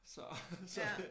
Så så det